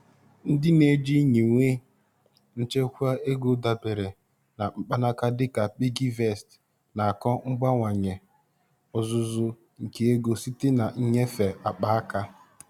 Ndị na-eji nyiwe nchekwa ego dabere na mkpanaka dịka PiggyVest na-akọ mbawanye ọzụzụ nke ego site na nnyefe akpaaka.